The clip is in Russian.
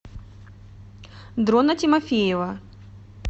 дрона тимофеева